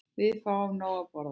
Við fáum nóg að borða.